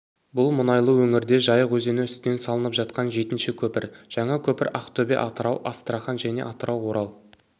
бұл мұнайлы өңірде жайық өзені үстінен салынып жатқан жетінші көпір жаңа көпір ақтөбе-атырау-астрахань және атырау орал